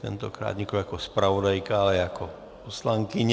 Tentokrát nikoliv jako zpravodajka, ale jako poslankyně.